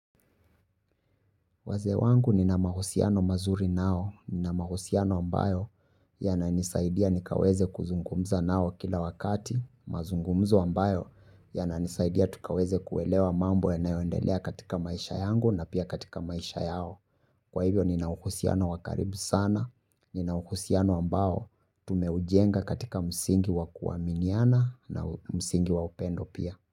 Wazee wangu nina mahusiano mazuri nao, nina mahusiano ambayo yananisaidia nikaweze kuzungumza nao kila wakati, mazungumzo ambayo yananisaidia tukaweze kuelewa mambo yanayoendelea katika maisha yangu na pia katika maisha yao. Kwa hivyo nina uhusiano wa karibu sana. Nina uhusiano ambao tumeujenga katika msingi wa kuaminiana na msingi wa upendo pia.